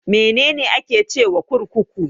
Mene ne ake cewa kurkuku?